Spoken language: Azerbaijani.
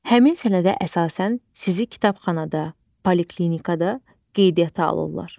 Həmin sənədə əsasən sizi kitabxanada, poliklinikada qeydiyyata alırlar.